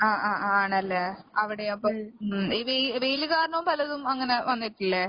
ആഹ് ആഹ് ആണല്ലേ? അവടെയോപ്പെ, ഉം ഈ വെ വെയില് കാരണോം പലതും അങ്ങനെ വന്നട്ടില്ലേ?